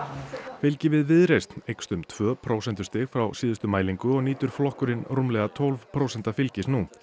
fylgi við Viðreisn eykst um tvö prósentustig frá síðustu mælingu og nýtur flokkurinn rúmlega tólf prósenta fylgis nú